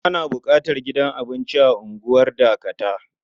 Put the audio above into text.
Ana buƙatar gidan abinci a unguwar Dakata.